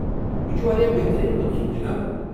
یہِ چھُ واریٛاہ بہترین منصوُبہٕ جناب۔